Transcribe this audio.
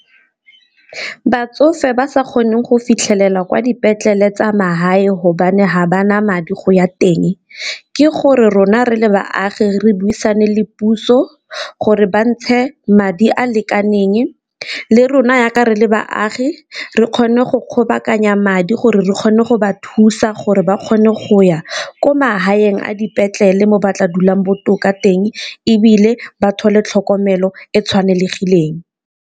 Batsofe ba sa kgoneng go fitlhelela kwa dipetlele tsa me hae hobane ha ba na madi go ya teng, ke gore rona re le baagi re buisane le puso gore ba ntshe madi a lekaneng le rona jaaka re le baagi re kgone go kgobokanya madi gore re kgone go ba thusa gore ba kgone go ya ko mahaeng a dipetlele mo batla dulang botoka teng, ebile thole tlhokomelo e tshwanelegileng.